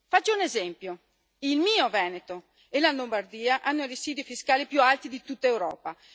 Faccio un esempio il mio Veneto e la Lombardia hanno residui fiscali più alti di tutta Europa.